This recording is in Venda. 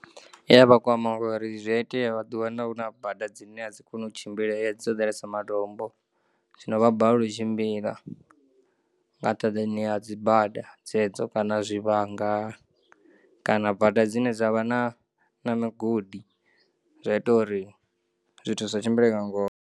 Iya vhakwama ngauri zwiya iteya vha ḓiwana huna bada dzine adzi koni u tshimbileya dzo ḓalesa matombo zwino vha balelwa u tshimbila, nga ṱhaḓani ha dzi bada dzedzo kana zwivhanga, kana bada dzine dzavha na na migodi, zwi ya ita uri zwithu zwi sa tshimbile nga ngona.